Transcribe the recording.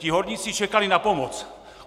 Ti horníci čekali na pomoc.